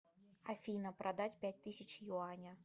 афина продать пять тысяч юаня